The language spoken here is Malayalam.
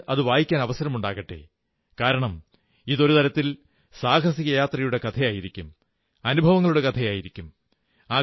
നിങ്ങൾക്കും അതു വായിക്കാൻ അവസരമാകട്ടെ കാരണം ഇതൊരു തരത്തിൽ സാഹസികയാത്രയുടെ കഥയായിരിക്കും അനുഭവങ്ങളുടെ കഥയായിരിക്കും